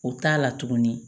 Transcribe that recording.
O t'a la tuguni